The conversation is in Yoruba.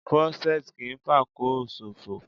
Krọ́ṣẹ́tì kì í fàkóò ṣòfò